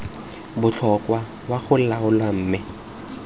botlhokwa wa go laola mme